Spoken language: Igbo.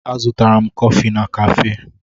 A zụtara kọfị na káfé